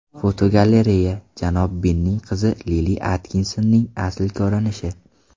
Fotogalereya: Janob Binning qizi Lili Atkinsonning asl ko‘rinishi.